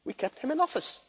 We kept him in office.